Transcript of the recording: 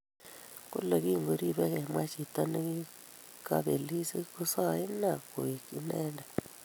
Kole kingoribei kemwa chito ne kikebelis kisoei inne koek inendet